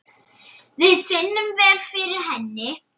Við finnum vel fyrir henni.